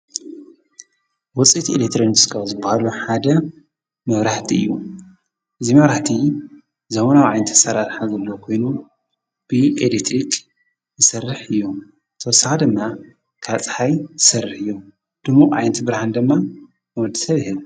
ውፂኢት ኤሌክትሮኒስ ካብ ዝበሃሉ ሓደ መብራህቲ እዩ። እዚ መብራህቲ ዘበናዊ ዓይነት አሰራርሓ ዘለዎ ኾይኑ ብ ኤሌክትሪክ ዝሰርሕ እዩ። ተወሳኪ ድማ ካብ ፀሓይ ዝሰርሕ እዮ። ድሙቅ ዓይነት ብርሃን ድማ ንወድሰብ ይህብ።